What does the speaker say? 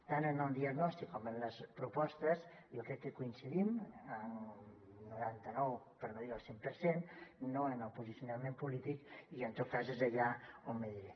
tant en el diagnòstic com en les propostes jo crec que coincidim en un noranta nou per no dir el cent per cent no en el posicionament polític i en tot cas és allà on aniré